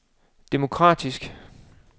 demokratisk